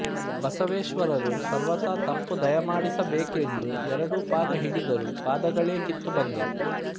ಬಸವೇಶ್ವರರು ಸರ್ವಥಾ ತಪ್ಪು ದಯಾಮಾಡಿಸಬೇಕು ಎಂದು ಎರಡು ಪಾದ ಹಿಡಿದರು ಪಾದಗಳೇ ಕಿತ್ತು ಬಂದವು